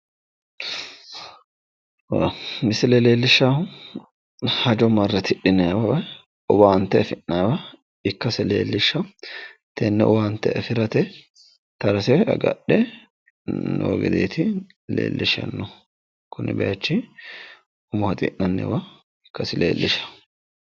Misile leellishshaahu hajo marre tidhannayiwa owaante afi'nayiwa ikkase leeliishshaa, tene owaante afirate tarase agadhine noo gedeeti leellishshahu kuni bayichi umo haxi'nayiwa ikkasi leellishaa.